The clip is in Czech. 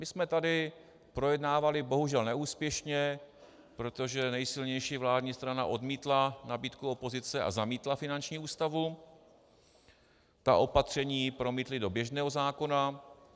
My jsme tady projednávali, bohužel neúspěšně, protože nejsilnější vládní strana odmítla nabídku opozice a zamítla finanční ústavu, ta opatření promítli do běžného zákona.